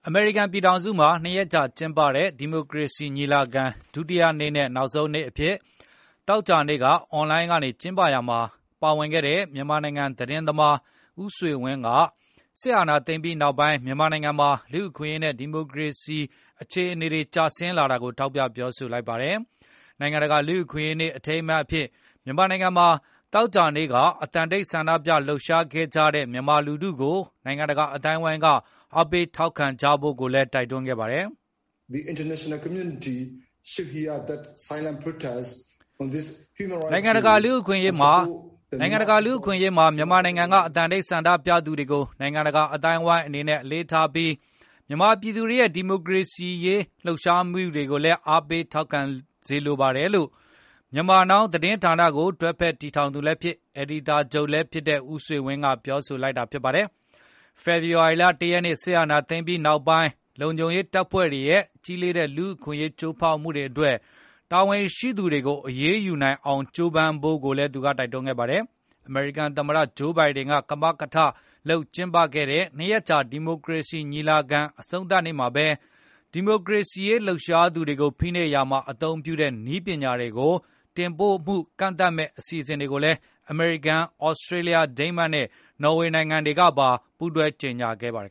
အမေရိကန် ပြည်ထောင်စုမှာ ၂ ရက်ကြာ ကျင်းပတဲ့ ဒီမိုကရေစီ ညီလာခံ ဒုတိယနေ့နဲ့ နောက်ဆုံးနေ့အဖြစ် သောကြာနေ့က အွန်လိုင်းကနေ ကျင်းပရာမှာ ပါဝင်ခဲ့တဲ့ မြန်မာသတင်းသမား ဦးဆွေဝင်း က စစ်အာဏာသိမ်းပြီးနောက်ပိုင်း မြန်မာနိုင်ငံမှာ လူ့အခွင့်အရေးနဲ့ ဒီမိုကရေစီ အခြေအနေတွေ ကျဆင်းလာတာကို ထောက်ပြပြောဆိုလိုက်ပါတယ်။ နိုင်ငံတကာ လူ့အခွင့်အရေးနေ့ အထိမ်းအမှတ်အဖြစ် မြန်မာနိုင်ငံမှာ သောကြာနေ့က အသံတိတ်ဆန္ဒပြလှုပ်ရှားခဲ့ကြတဲ့ မြန်မာလူထုကို နိုင်ငံတကာ အသိုင်းအဝန်းက အားပေးထောက်ခံကြဖို့လည်း တိုက်တွန်းလိုက်ပါတ်ယ။ “နိုင်ငံတကာ လူ့အခွင့်အရေးနေ့မှာ မြန်မာနိုင်ငံက အသံတိတ်ဆန္ဒပြသူတွေကို နိုင်ငံတကာ အသိုင်းအဝန်းအနေနဲ့ အလေးထားပြီး၊ မြန်မာပြည်သူတွေရဲ့ ဒီမိုကရေစီရေး တော်လှန်လှုပ်ရှားမှုတွေကိုလည်း အားပေးစေလိုပါတယ်။” လို့ Myanmar Now သတင်းဌာနကို တွဲဖက်တည်ထောင်သူလည်းဖြစ်၊ အယ်ဒီတာချုပ်ဖြစ်လည်းဖြစ်တဲ့ ဦးဆွေဝင်း ကပြောလိုက်တာပါ။ ဖေဖော်ဝါရီလ ၁ ရက်နေ့ စစ်အာဏာသိမ်းပြီးနောက်ပိုင်း လုံခြုံရေးတပ်ဖွဲ့တွေရဲ့ ကြီးလေးတဲ့ လူ့အခွင့်အရေး ချိုးဖောက်မှုတွေအတွက် တာဝန်ရှိသူတွေကို အရေးယူနိုင်အောင် ကြိုးပမ်းဖို့လည်း တိုက်တွန်းခဲ့ပါတယ်။ အမေရိကန်သမ္မတ Joe Biden ကမကထလုပ် ကျင်းပတဲ့ ၂ ရက်ကြာ ဒီမိုကရေစီ ညီလာခံ အဆုံးသတ်နေ့မှာပဲ ဒီမိုကရေစီရေး လှုပ်ရှားသူတွေကို ဖိနှိပ်ရာမှာ အသုံးပြုတဲ့ နည်းပညာတွေကို တင်ပို့မှု ကန့်သတ်မယ့် အစီအစဉ်တွေကိုလည်း အမေရိကန်၊ သြစတြေးလျ၊ ဒိန်းမတ်နဲ့ နော်ဝေနိုင်ငံတွေက ကြေညာခဲ့ကြပါတယ်